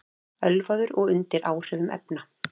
Ölvaður og undir áhrifum efna